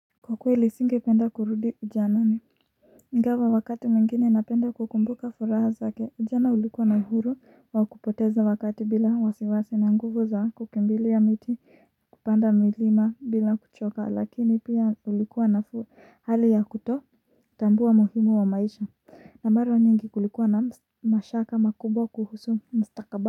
Kwa kweli singependa kurudi ujanani ingawa wakati mwingine napenda kukumbuka furaha zake ujana ulikuwa na uhuru wa kupoteza wakati bila wasiwasi na nguvu za kukimbilia miti kupanda milima bila kuchoka lakini pia ulikuwa na hali ya kuto tambua muhimu wa maisha na mara nyingi kulikuwa na mashaka makubwa kuhusu mstakaba.